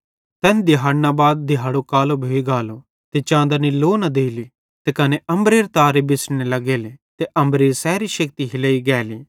तैन दिहाड़ना बाद दिहाड़ो कालो भोइ गालो त चाँदनी लो न देली त कने अम्बरेरां तारे बिछ़ड़ने लग्गेले त अम्बरेरी सैरी शेक्ति हिलेई गेली